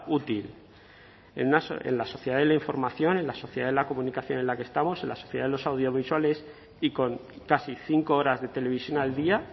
útil en la sociedad de la información en la sociedad de la comunicación en la que estamos en la sociedad de los audiovisuales y con casi cinco horas de televisión al día